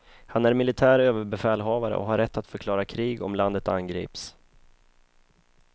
Han är militär överbefälhavare och har rätt att förklara krig om landet angrips.